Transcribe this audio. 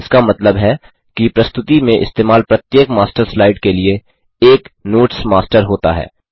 इसका मतलब है कि प्रस्तुति में इस्तेमाल प्रत्येक मास्टर स्लाइड के लिए एक नोट्स मास्टर होता है